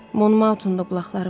Monmautum da qulaqları var.